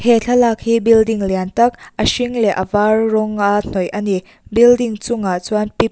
he thlalak hi building lian tak a hring leh a var rawng a hnawih ani building chungah chuan pi--